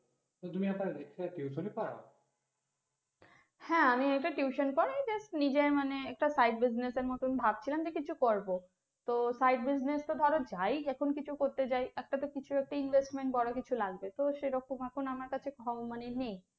হ্যাঁ আমি একটা tuition পড়াই, just নিজের মানে একটা side business এর মতন ভাবছিলাম যে কিছু করবো, তো side business এ ধরো যাই এখন কিছু করতে যাই, একটা তো কিছু একটা invest বড় কিছু লাগবে তো সেরকম এখন আমার কাছে ধন মানে নেই